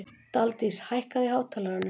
Daldís, hækkaðu í hátalaranum.